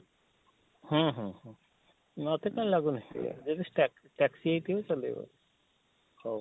ହଁ ହଁ ହୁଁ ମତେ ତ ଲାଗୁନି ଯଦି taxi taxi ହେଇଥିବ ଚଲେଇବ ହଉ